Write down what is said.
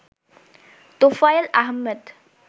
Tofail Ahmed